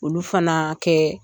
Olu fana kɛ